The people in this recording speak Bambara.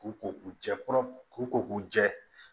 K'u ko u jɛ kɔrɔ k'u ko k'u jɛ